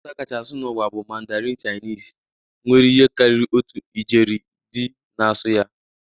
Asụsụ a kacha asụ n'ụwa bụ Mandarin Chinese, nwere ihe karịrị otu ijeri ndị na-asụ ya